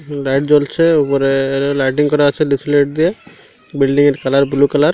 Light জ্বলছে উপরে lighting করা আছে ডিস লাইট দিয়ে বিল্ডিং -এর কালার ব্লু কালার ।